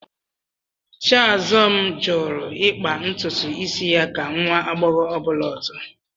Chiazọm jụrụ ịkpa ntutu isi ya ka nwa agbọghọ ọbụla ọzọ